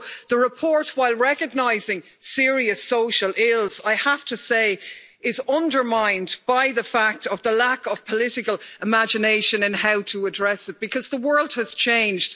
So the report, while recognising serious social ills, I have to say is undermined by the fact of the lack of political imagination in how to address it, because the world has changed